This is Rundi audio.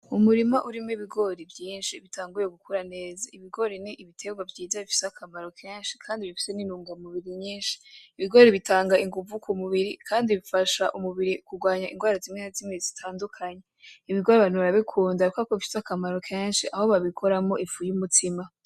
Umurima urimwo ibigori vyinshi bitanguye gukura neza ibigori n'ibitegwa vyiza bifise akamaro kenshi Kandi bifise n'intunga mubiri nyinshi, Ibigori bitanga inguvu kumubiri Kandi bifasha umubiri kugwanya ingwara zimwe zimwe zitandukanye ibigori abantu barabikunda kuberako bifise akamaro kenshi aho babikoramwo ifu yumutsima.